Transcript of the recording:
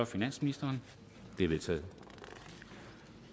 finansministeren de er vedtaget